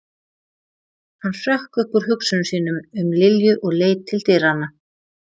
Hann hrökk upp úr hugsunum sínum um Lilju og leit til dyranna.